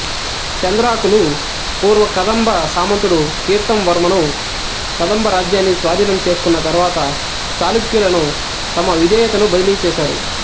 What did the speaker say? సెంద్రాకులు పూర్వ కదంబ సామంతుడు కీర్తంవర్మను కదంబ రాజ్యాన్ని స్వాధీనం చేసుకున్న తరువాత చాళుక్యులకు తమ విధేయతను బదిలీ చేశారు